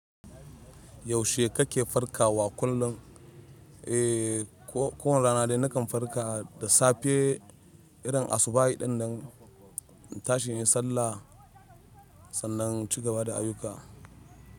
Yaushe kake farkawa kullum? Eh, kowane rana dai nakan farka da safe irin asubahin ɗin nan, in tashi in yi sallah sannan ci gaba da ayuka.